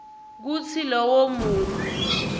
kutsi lowo muntfu